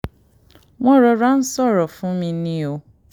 wọ́n rọra ń ṣòro fún ṣòro fún mi ni o